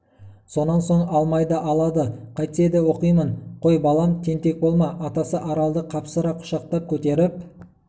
сонан соң алмайды алады қайтсе де оқимын қой балам тентек болма атасы аралды қапсыра құшақтап көтеріп